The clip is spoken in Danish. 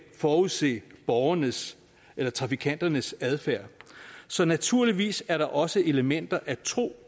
forudse borgernes eller trafikanternes adfærd så naturligvis er der også elementer af tro